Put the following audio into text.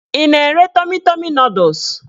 Ị na-ere tọmi tọmi nọdụs?